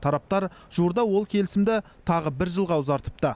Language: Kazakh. тараптар жуырда ол келісімді тағы бір жылға ұзартыпты